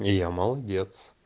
я молодец